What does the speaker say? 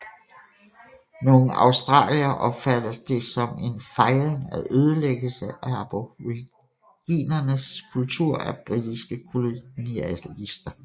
Nogle australiere opfatter det som en fejring af ødelæggelse af aboriginernes kultur af britiske kolonialister